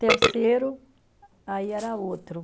Terceiro, aí era outro.